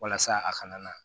Walasa a kana na